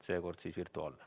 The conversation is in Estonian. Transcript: Seekord siis virtuaalne.